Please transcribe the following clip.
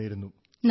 thank you sir